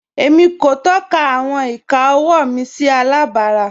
Émi kò tọ̀kà àwọn ìkà ọ̀wọ́ mi sí àlàbárà.